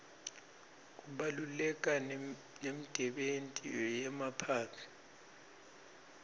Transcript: kubaluleka nemdebenti yemaphaphy